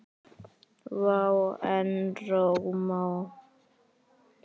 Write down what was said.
Vá, en rómó.